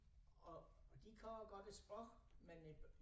Og og de kan godt æ sproch men øh